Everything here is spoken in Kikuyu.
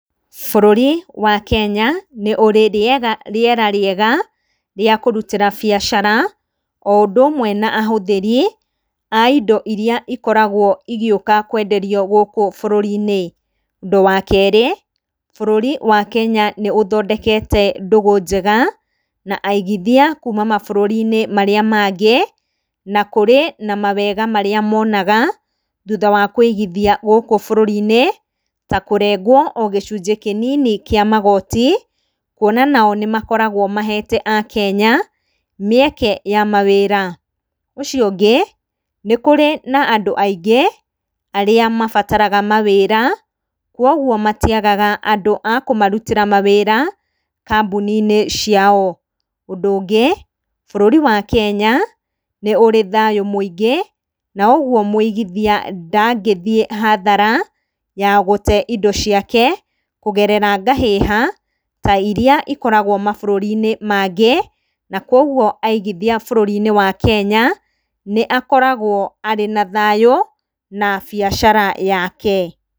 Bũrũri wa Kenya nĩ ũrĩ rĩera rĩega rĩa kũrutĩra biacara o ũndũ ũmwe na ahũthĩri a indo iria ikoragwo igĩũka kwenderio gũkũ bũrũri-inĩ. Ũndũ wa kerĩ, bũrũri wa Kenya nĩ ũthondekete ndũgũ njega na aigithia kuma maburũri-inĩ marĩa mangĩ, na kũrĩ na mawega marĩa monaga thutha wa kũigithia gũkũ bũrũrinĩ ta kũrengwo o gĩcunjĩ kĩnini kĩa magoti kuona nao nĩmakoragwo mahete akenya mĩeke ya mawĩra. Ũcio ũngĩ, nĩ kũrĩ na andũ aingĩ arĩa mabatara mawĩra koguo matiagaga andũ a kũmarutĩra mawĩra kambuni-inĩ ciao. Ũndũ ũngĩ bũrũri wa Kenya nĩ ũrĩ thayũ mũingĩ koguo mũigithia ndangĩthiĩ hathara ya gũte indo ciake kũgerera ngahĩha ta iria ikoragwo mabũrũri-inĩ mangĩ na koguo aigithia bũrũri-inĩ wa Kenya nĩ akoragwo arĩ na thayũ na biacara yake.